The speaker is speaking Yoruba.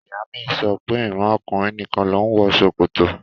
Ìyá mi sọ pé ìran ọkùnrin nìkan ló ń wọ ṣòkòtò